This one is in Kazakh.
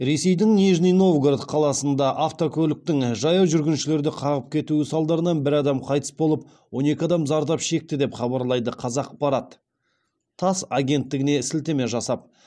ресейдің нижний новгород қаласында автокөліктің жаяу жүргіншілерді қағып кетуі салдарынан бір адам қайтыс болып он екі адам зардап шекті деп хабарлайды қазақпарат тасс агенттігіне сілтеме жасап